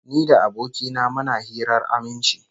Ni da aboki na muna hirar aminci